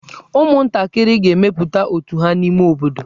Ụmụntakịrị ga-emepụta otù ha n'ime obodo.